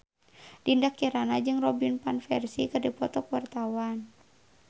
Dinda Kirana jeung Robin Van Persie keur dipoto ku wartawan